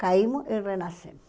Caímos e renascemos.